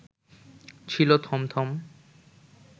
ছিল থমথম